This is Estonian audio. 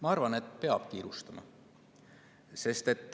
Ma arvan, et peab kiirustama.